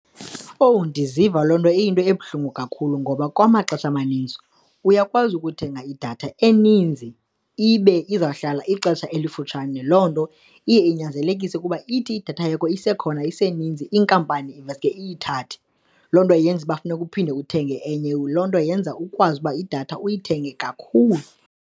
Owu! Ndiziva loo nto iyinto ebuhlungu kakhulu ngoba kwamaxesha amaninzi uyakwazi ukuthenga idatha eninzi ibe izawuhlala ixesha elifutshane, loo nto iye inyanzelekise ukuba ithi idatha yakho isekhona, iseninzi, inkampani iveske iyithathe. Loo nto yenza uba funeka uphinde uthenge enye, loo nto yenza ukwazi uba idatha uyithenge kakhulu.